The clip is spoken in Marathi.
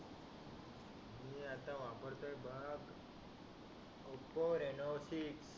मी आता वापरतोय बघ ओप्पो रेनो सिक्स